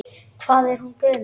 Hvað er hún gömul?